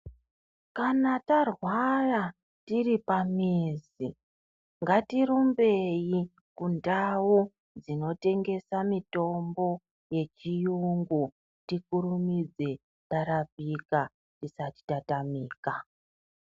Kana tarwara tiripamizi ngatirumbeyi kundawu dzinotengesa mitombo yechiyungu. Tikurumidze tarapika tisati tatamika.